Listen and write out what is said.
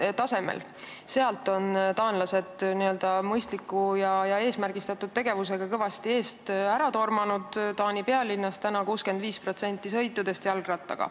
Praeguseks on taanlased mõistliku ja eesmärgistatud tegevusega kõvasti eest ära tormanud: Taani pealinnas tehakse 65% sõitudest jalgrattaga.